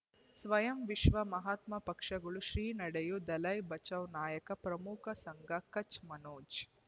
ಸ್ವಯಂ ವಿಶ್ವ ಮಹಾತ್ಮ ಪಕ್ಷಗಳು ಶ್ರೀ ನಡೆಯೂ ದಲೈ ಬಚೌ ನಾಯಕ ಪ್ರಮುಖ ಸಂಘ ಕಚ್ ಮನೋಜ್